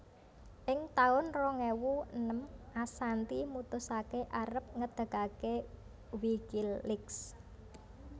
Ing taun rong ewu enem Assanti mutusaké arep ngedegaké WikiLeaks